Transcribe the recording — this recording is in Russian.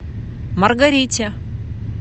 маргарите